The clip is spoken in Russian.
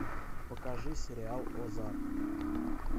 покажи сериал озарк